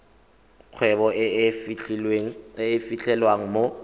kgwebo e e fitlhelwang mo